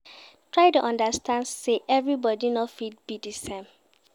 Try de understand say everybody no fit be di same